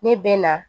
Ne bɛ na